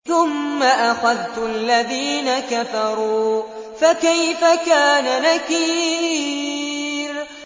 ثُمَّ أَخَذْتُ الَّذِينَ كَفَرُوا ۖ فَكَيْفَ كَانَ نَكِيرِ